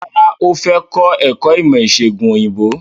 Rárá, ó fẹ́ kọ́ ẹ̀kọ́ ìmọ̀ ìsègùn òyìnbó.